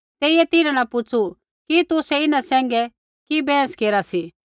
तेइयै तिन्हां न पुछ़ू कि तुसै इन्हां सैंघै कि बैहस केरा सी